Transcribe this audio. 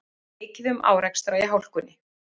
Mikið um árekstra í hálkunni